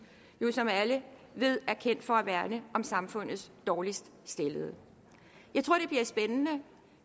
jo som alle ved kendt for at værne om samfundets dårligst stillede jeg tror det bliver spændende